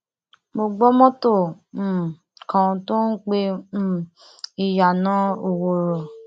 mo gbọ mọtò um kan tó ń pe um ìyànà òwòrò